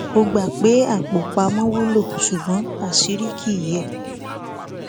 ó gbà pé apò pamọ wúlò ṣùgbọn àṣírí kì í yẹ